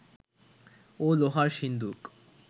ও লোহার সিন্দুক